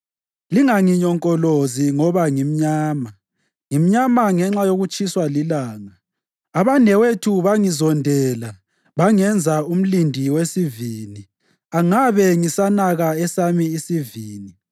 Linganginyonkolozi ngoba ngimnyama, ngimnyama ngenxa yokutshiswa lilanga. Abanewethu bangizondela bangenza umlindi wesivini; angabe ngisanaka esami isivini.